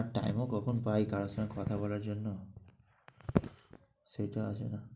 আর time ও কখন পাই কারোর সঙ্গে কথা বলার জন্য সেটা আছে না।